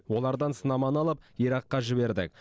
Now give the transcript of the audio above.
олардан сынаманы алып иракқа жібердік